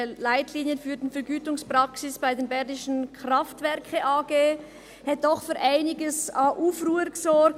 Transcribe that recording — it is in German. «Leitlinien für die Vergütungspraxis bei der Bernischen Kraftwerke AG» – hat doch für einige Aufruhr gesorgt.